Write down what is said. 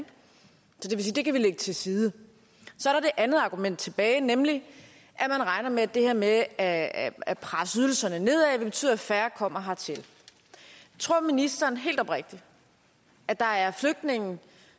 det kan vi lægge til side så er det andet argument tilbage nemlig at man regner med at det her med at at presse ydelserne nedad vil betyde at færre kommer hertil tror ministeren helt oprigtigt at der er flygtninge